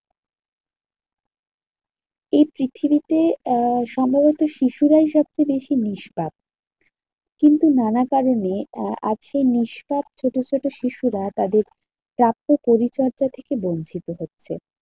এই পৃথিবীতে আহ সম্ভবত শিশুরাই সবচেয়ে বেশি নিষ্পাপ। কিন্তু নানা কারণে আজকে নিষ্পাপ ভবিষ্যতের শিশুরা তাদের প্রাপ্ত পরিচর্যা থেকে বঞ্চিত হচ্ছে।